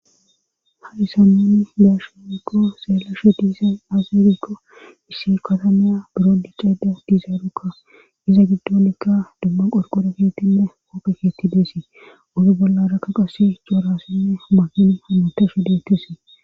Hadisammani deashimikko seelashe diisay azirikko issi katamiya biro diiceeda dizaarukka iza giddonikka dumma qorqora geetinne oppheketi deesii ozu bollarakka qasi coorassinne mahini hamutashe deettesii